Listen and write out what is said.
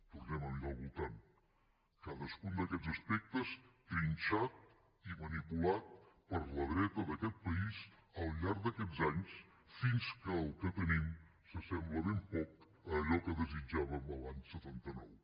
tornem a mirar al voltant cadascun d’aquest aspectes trinxat i manipulat per la dreta d’aquest país al llarg d’aquests anys fins que el que tenim s’assembla ben poc a allò que desitjàvem l’any setanta nou